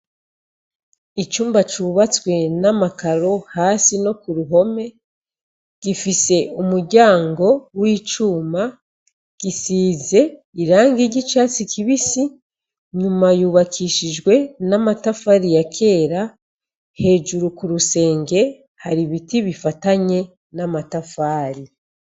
Icumba cubatswe namakaro hasi nokuruhome gifise umuryango wicuma gisize irangi ryicatsi kibisi nyuma yubakishijwe namatafari yakera hejuru kurusenge hari ibiti bifatanye namatafari